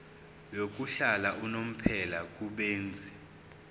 yokuhlala unomphela kubenzi